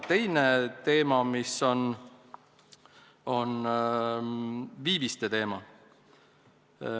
Üks tõstatatud teema on viiviste teema.